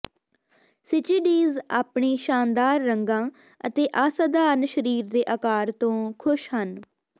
ਸਿਚਿਡਿਜ਼ ਆਪਣੇ ਸ਼ਾਨਦਾਰ ਰੰਗਾਂ ਅਤੇ ਅਸਾਧਾਰਨ ਸਰੀਰ ਦੇ ਆਕਾਰ ਤੋਂ ਖੁਸ਼ ਹਨ